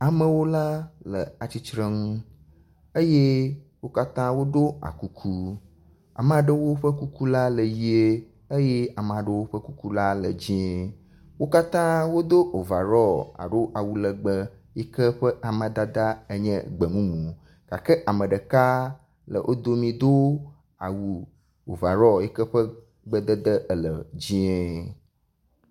Amewo la le atsitre ŋu eye wo katã woɖo akuku, ame aɖewo ƒe kuku la le ʋie eye ame aɖewo ƒe kuku la le dzie, wo katã wodo overall alo awu legbe yi ke ƒe amadada le gbe mumu gake ame ɖeka le wo domi yi do awu overall yi ke ƒe gbedede ele dzɛ̃e.